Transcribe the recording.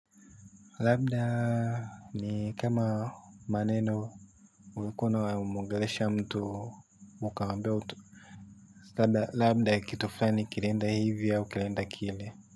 Labda ni kama maneno ulikuwa unamwongelesha mtu ukaambiwa tu labda kitu fulani kilienda hivi au kilienda kile.